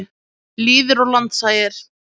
Lýðir og landshagir.